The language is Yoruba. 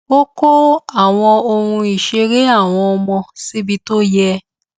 ó kó àwọn ohun ìṣeré àwọn ọmọ síbi tó yẹ